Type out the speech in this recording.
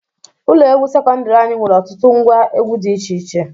Ụlọ egwu sekọndiri anyị nwere ọtụtụ ngwa egwu dị iche iche.